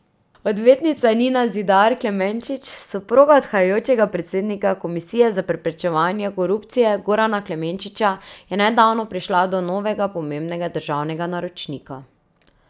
Odvetnica Nina Zidar Klemenčič, soproga odhajajočega predsednika komisije za preprečevanje korupcije Gorana Klemenčiča, je nedavno prišla do novega pomembnega državnega naročnika.